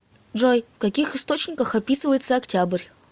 джой в каких источниках описывается октябрь